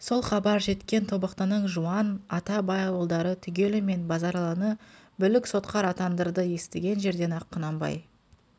сол хабар жеткен тобықтының жуан ата бай ауылдары түгелімен базаралыны бүлік сотқар атаңдырды естіген жерден-ақ құнанбай